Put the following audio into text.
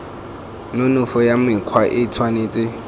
nonofo ya mokgwa e tshwanetse